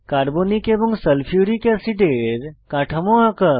carbonic এবং sulphuric অ্যাসিডের কাঠামো আঁকা